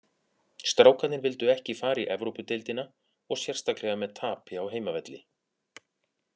Strákarnir vildu ekki fara í Evrópudeildina og sérstaklega með tapi á heimavelli.